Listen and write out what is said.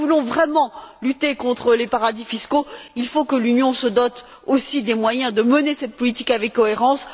Si nous voulons vraiment lutter contre les paradis fiscaux, il faut que l'Union se dote aussi des moyens de mener cette politique avec cohérence.